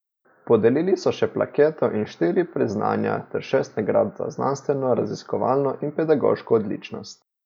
Podelili so še plaketo in štiri priznanja ter šest nagrad za znanstveno raziskovalno in pedagoško odličnost.